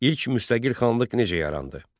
İlk müstəqil xanlıq necə yarandı?